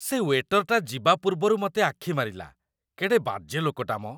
ସେ ୱେଟରଟା ଯିବା ପୂର୍ବରୁ ମତେ ଆଖିମାରିଲା । କେଡ଼େ ବାଜେ ଲୋକଟା ମ!